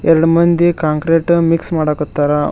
ಎರಡು ಮಂದಿ concrete mix ಮಾಡಕತ್ತಾರ.